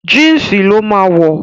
Jínsì ló máa wọ̀